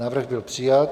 Návrh byl přijat.